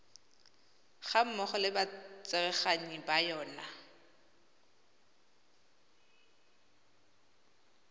gammogo le batsereganyi ba yona